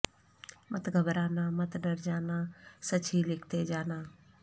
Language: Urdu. مت گھبرانا مت ڈر جانا سچ ہی لکھتے جانا